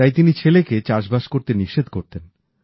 তাই তিনি ছেলেকে চাষবাস করতে নিষেধ করতেন